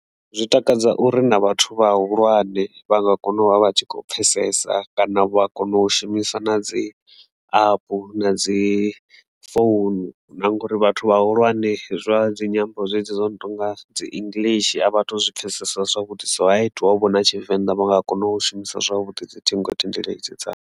Zwi takadza uri na vhathu vhahulwane vha nga kona u vha vha tshi kho pfhesesa kana vha a kona u shumisa na dzi app na dzi phone, ngori vhathu vhahulwane zwa dzinyambo zwezwi zwo no tonga dzi English a vhathu zwi pfhesesa zwavhuḓi so ha itiwa vho na Tshivenḓa vha nga kona u shumisa zwavhuḓi dziṱhingothendeleki dzavho.